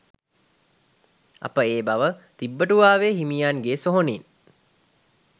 අප ඒ බව තිබ්බටුවාවේ හිමියන්ගේ සොහොනින්